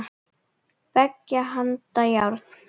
Beggja handa járn.